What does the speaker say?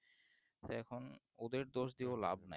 তাই এখন ওদের দোষ দিয়ে লাব নাই